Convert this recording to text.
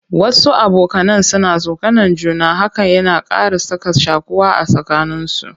Wasu abokanan suna tsokanan juna, hakan yana ƙara sa ka shaƙuwa a tsakanin su.